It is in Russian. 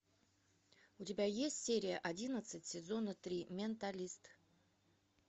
у тебя есть серия одиннадцать сезона три менталист